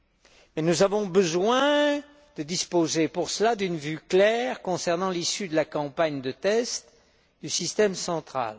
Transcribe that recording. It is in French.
Mais nous avons besoin de disposer pour cela d'une vue claire concernant l'issue de la campagne de tests du système central.